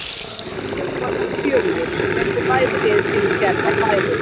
Leikurinn var nokkuð fjörugur og fengu bæði lið sinn skerf af færum.